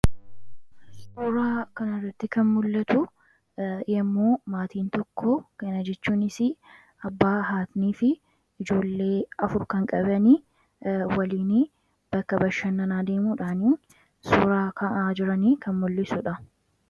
Suuraa kana irratti kan mul'atu yommuu maatiin tokko kana jechuunis: abbaa, haadha fi ijoollee isaanii afur waliin bakka bashannanaa deemuudhaan suuraa ka'aa jiran kan mul'isudha.